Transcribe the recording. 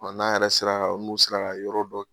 n'a yɛrɛ sera ka n'u sera ka yɔrɔ dɔ